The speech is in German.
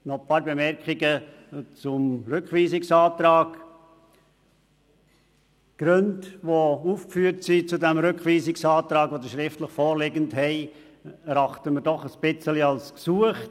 Einige Bemerkungen zum Rückweisungsantrag: Die aufgeführten Gründe für den Rückweisungsantrag, die uns schriftlich vorliegen, erachten wir als etwas gesucht.